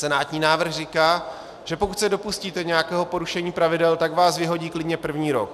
Senátní návrh říká, že pokud se dopustíte nějakého porušení pravidel, tak vás vyhodí klidně první rok.